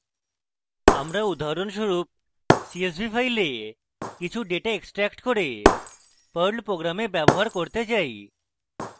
উদাহরণস্বরূপ আমি csv file থেকে কিছু ডেটা extract করে perl program ব্যবহার করতে say